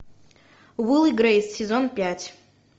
уилл и грейс сезон пять